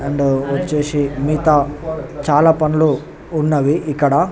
And వచేసి చాల పండ్లు ఉన్నవి ఇక్కడ --.